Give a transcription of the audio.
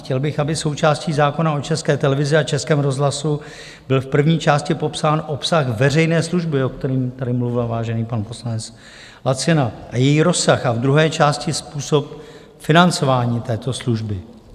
Chtěl bych, aby součástí zákona o České televizi a Českém rozhlasu byl v první části popsán obsah veřejné služby, o kterém tady mluvil vážený pan poslanec Lacina, a její rozsah, a v druhé části způsob financování této služby.